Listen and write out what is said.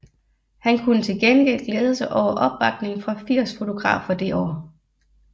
Han kunne til gengæld glæde sig over opbakning fra 80 fotografer det år